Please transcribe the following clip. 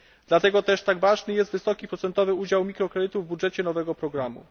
Dlatego też tak ważny jest wysoki procentowy udział mikrokredytów w budżecie nowego programu.